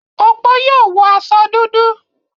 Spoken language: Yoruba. Opó yóò wọ aṣọ dúdú?